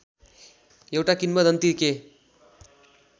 एउटा किम्वदन्ती के